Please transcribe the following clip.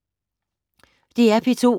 DR P2